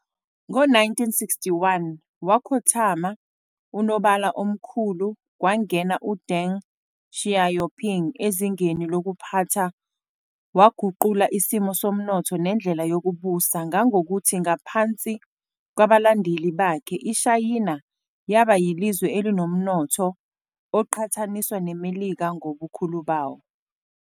Ngo-1961, wakhothama uNobala oMkhulu, kwangena uDeng Xiaoping ezingeni lokuphatha waguqulo isimo somnotho nendlela yokubusa ngangokuthi ngaphansi kwabalandeli bake, iShayina yaba yilizwe elinomnotho oqhataniswa neMelika ngobukhulu bayo.